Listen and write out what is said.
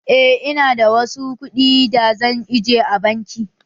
Eh, ina da wasu kuɗi da zan aje a banki